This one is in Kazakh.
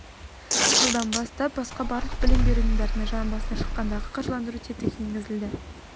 жылдан бастап басқа барлық білім беру ұйымдарына жан басына шаққандағы қаржыландыру тетігі енгізіледі